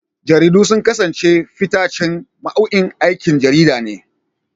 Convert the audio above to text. Jaridu sun kasance fitaccen nau'in aikin jarida ne.